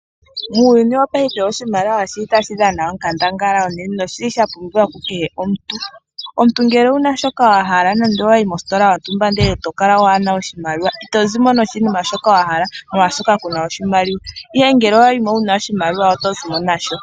Muuyuni wopaife oshimaliwa oshi li tashi dhana onkandangala unene nosha pumbiwa kukehe omuntu. Omuntu ngele owuna shoka wa hala etoyi mositola yontumba itozimo nasho ihe ngele owayi mo wuna oshimaliwa oto zimo nasho.